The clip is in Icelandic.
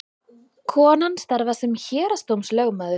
Konan starfar sem héraðsdómslögmaður